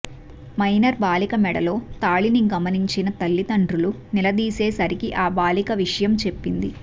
minor బాలిక మెడలో తాళిని గమనించిన తల్లిదండ్రులు నిలదీసే సరికి ఆ బాలిక విషయం చెప్పింది